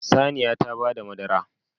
Saniya ta bada madara